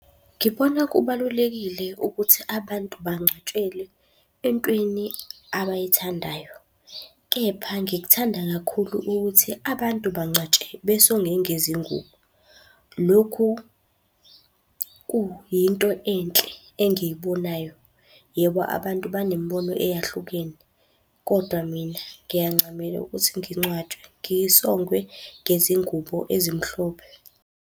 Ngibona kubalulekile ukuthi abantu bangcwatshelwe entweni abayithandayo, kepha ngikuthanda kakhulu ukuthi abantu bangcatshwe besongwe ngezingubo. Lokhu kuyinto enhle engiyibonayo. Yebo, abantu banemibono eyahlukene, kodwa mina ngiyancamela ukuthi ngingcwatshwe ngisongwe ngezingubo ezimhlophe.